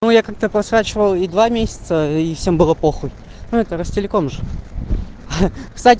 ну я как-то посрать валл-и месяца и всем было п ну это ростелекома